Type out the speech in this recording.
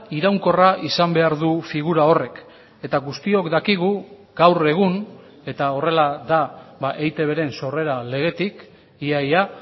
iraunkorra izan behar du figura horrek eta guztiok dakigu gaur egun eta horrela da eitbren sorrera legetik ia ia